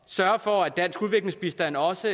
sørge for at dansk udviklingsbistand også